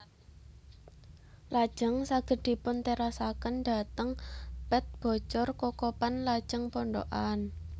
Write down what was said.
Lajeng saged dipun terasaken dhateng Pet Bocor Kokopan lajeng Pondokan